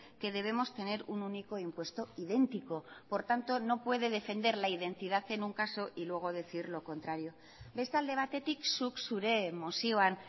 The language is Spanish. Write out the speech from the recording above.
que debemos tener un único impuesto idéntico por tanto no puede defender la identidad en un caso y luego decir lo contrario beste alde batetik zuk zure mozioan